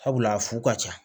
Sabula a fu ka ca